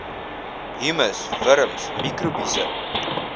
humus wurms mikrobiese